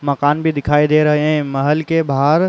मकान भी दिखाई दे रहे हैं। महल के बाहर।